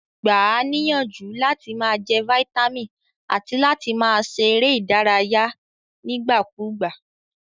Gba a níyànjú làti ma je vitamin àti láti ma se eré ìdárayé nígbà kúgbà